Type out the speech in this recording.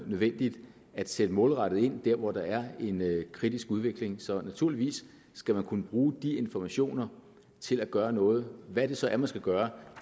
nødvendigt at sætte målrettet ind der hvor der er en kritisk udvikling så naturligvis skal man kunne bruge de informationer til at gøre noget hvad det så er man skal gøre